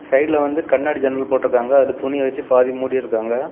சைடுல வந்து கண்ணாடி ஜன்னல் போட்டுருக்காங்க. அதுல துணி வைச்சி பாதி மூடிருக்காங்க.